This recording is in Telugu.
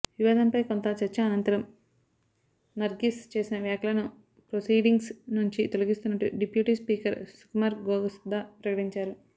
వివాదంపై కొంత చర్చ అనంతరం నర్గిస్ చేసిన వ్యాఖ్యలను ప్రొసీడింగ్స్ నుంచి తొలగిస్తున్నట్టు డిప్యూటీ స్పీకర్ సుకుమార్ గోస్దా ప్రకటించారు